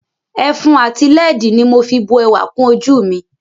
Ẹfun ati lẹ́ẹ̀dì ni mo fi bu ẹwà kùn ojú mi